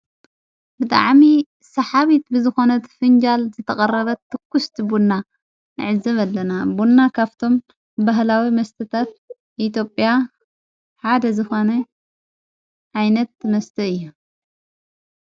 ብጥዓሚ ሰሓቢት ብዝኾነት ፍንጃል ዘተቐረበት ትኲስቲ ቡንና ኣዕዘብ ኣለና ቦንና ካፍቶም በህላዊ መስተታፍ ኢትጵያ ሓደ ዝኾነ ኣይነት መስተአ እዩ።